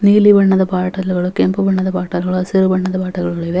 ನೀಲಿ ಬಣ್ಣದ ಬೋಟಲ್ ಗಳು ಕೆಂಪು ಬಣ್ಣದ ಬೋಟಲ್ ಗಳು ಹಸಿರು ಬಣ್ಣದ ಬೋಟಲ್ ಗಳಿವೆ.